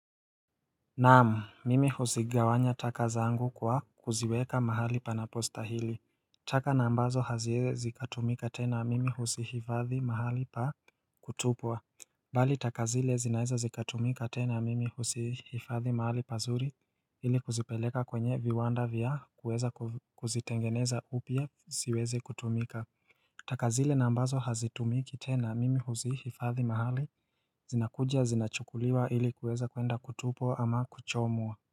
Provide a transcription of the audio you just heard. Naam mimi huzigawanya taka zangu kwa kuziweka mahali panapo stahili taka na ambazo haziezi zikatumika tena mimi huzihifadhi mahali pa kutupwa Bali taka zile zinaweza zikatumika tena mimi huzihifadhi mahali pazuri ili kuzipeleka kwenye viwanda vya kuweza kuzitengeneza upya siweze kutumika taka zile na ambazo hazitumiki tena mimi huzihifadhi mahali zinakuja zinachukuliwa ili kuweza kuenda kutupwa ama kuchomwa.